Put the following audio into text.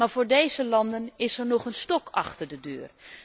Maar voor deze landen is er nog een stok achter de deur.